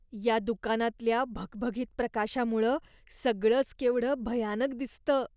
या दुकानातल्या भगभगीत प्रकाशामुळं सगळंच केवढं भयानक दिसतं.